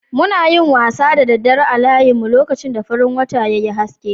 Muna yin wasa da daddare a layinmun, lokacin da farin wata ya yi aske.